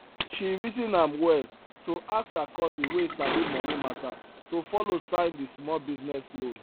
she reason am well to ask her cousin wey sabi money matter to follow sign the small business loan